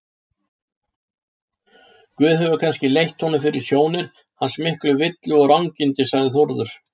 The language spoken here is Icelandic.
Guð hefur kannski leitt honum fyrir sjónir hans miklu villu og rangindi, sagði Þórður.